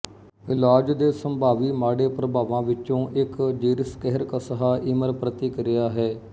ਇਲਾਜ ਦੇ ਸੰਭਾਵੀ ਮਾੜੇ ਪ੍ਰਭਾਵਾਂ ਵਿੱਚੋਂ ਇੱਕ ਜੇਰਿਸਕਹਰਕਸਹਾਈਮਰ ਪ੍ਰਤਿਕਿਰਿਆ ਹੈ